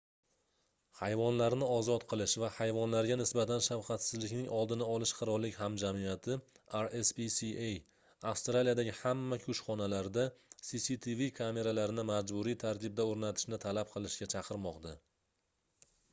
hayvonlarni ozod qilish va hayvonlarga nisbatan shafqatsizlikning oldini olish qirollik hamjamiyati rspca avstraliyadagi hamma kushxonalarda cctv kameralarini majburiy tartibda o'rnatishni talab qilishga chaqirmoqda